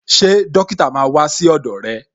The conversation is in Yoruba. Ṣé dókítà máa wà sí ọdọ rẹ̀